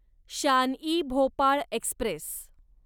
Shan e Bhopal Express